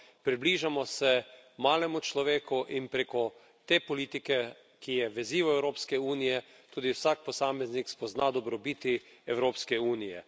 Približamo se malemu človeku in preko te politike, ki je vezivo Evropske unije, tudi vsak posameznik spozna dobrobiti Evropske unije.